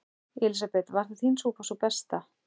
Elísabet: Var þín súpa sú besta?